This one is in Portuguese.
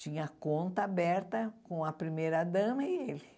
Tinha conta aberta com a primeira dama e ele.